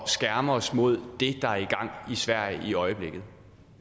skærme os mod det der er i gang i sverige i øjeblikket